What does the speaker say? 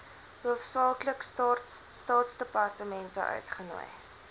hoofsaaklik staatsdepartemente uitgenooi